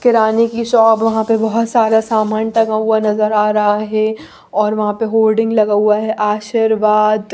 किराने की शॉप वहाँ पे बहुत सारा सामान टंगा हुआ नजर आ रहा है और वहाँ पे होल्डिंग लगा हुआ है आशीर्वाद--